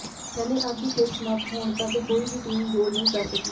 ਪਹਿਲੇ ਅੱਧ ਦੀ ਖੇਡ ਸਮਾਪਤ ਹੋਣ ਤਕ ਕੋਈ ਵੀ ਟੀਮ ਗੋਲ ਨਹੀਂ ਕਰ ਸਕੀ